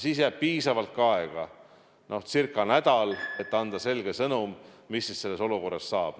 Siis jääb piisavalt ka aega, ca nädal, et anda selge sõnum, mis selles olukorras saab.